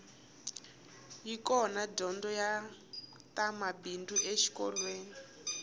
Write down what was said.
yi kona dyondzo ya ta mabindzu exikolweni